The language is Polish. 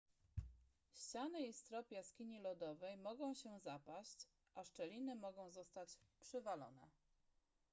ściany i strop jaskini lodowej mogą się zapaść a szczeliny mogą zostać przywalone